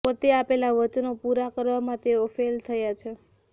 પોતે આપેલા વચનો પૂરા કરવામાં તેઓ ફેઈલ થયા છે